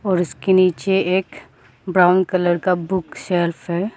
और इसके नीचे एक ब्राउन कलर का बुक सेल्फ है।